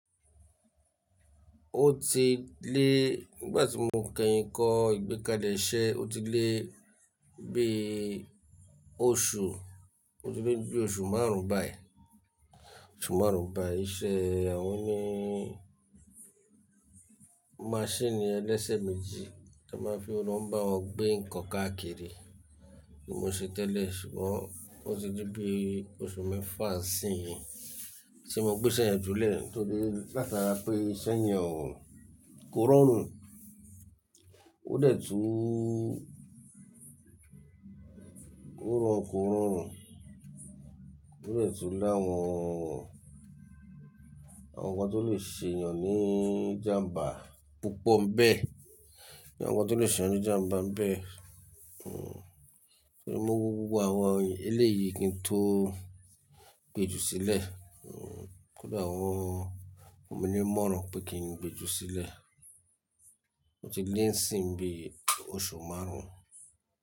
Ó ti lé, nígbà tí mo kẹyìn kọ́ ìgbékalẹ iṣẹ̀, ó ti lé bí i oṣù, ó ti lé bí i oṣù márùn-ún báyìí. Oṣù márùn-ún báyìí. Ìṣe, àwọn nii maṣínì ẹlẹ́sẹ̀ méjì tí wọ́n máa fi lọ́ń bá wọn gbé nǹkan káàkiri ni mo n ṣe tẹ́lẹ̀. Ṣùgbọ́n ó ti lé bí i oṣù mẹ́fà n sin yii tí mo gbé iṣẹ́ yẹn júlẹ̀, torí látara pé iṣẹ́ yẹn ò kó ràn rùn. Ó dẹ̀ tú kó ràn kó ràn rùn. Ó dẹ̀ tú láwọn, awọn nǹkan tó lè ṣe èèyàn ní ìjàmbá púpọ̀ n bẹ́ẹ̀, ní àwọn tó lè ṣe ní ìjàmbá n bẹ́ẹ̀. Hmm, mo wo gbó gbogbo àwọn eléyìí kí n tó gbeju sílẹ̀. Kódà àwọn ọmọ mi ní ìmọ̀ràn pé kí n gbeju sílẹ̀. Ó ti lé n sìn bí i oṣù márùn-ún.